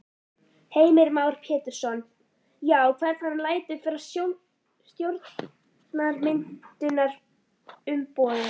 Heimir Már Pétursson: Já, hvern hann lætur frá stjórnarmyndunarumboðið?